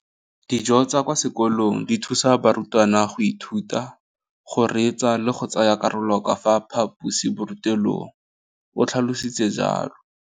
Dijo tsa kwa sekolong dithusa barutwana go ithuta, go reetsa le go tsaya karolo ka fa phaposiborutelong, o tlhalositse jalo.